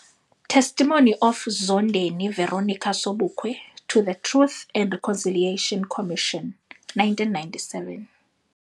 Testimony of Zondeni Veronica Sobukwe to the Truth and Reconciliation Commission 1997